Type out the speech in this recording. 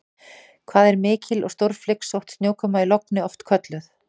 Hvað er mikil og stórflygsótt snjókoma í logni oft kölluð?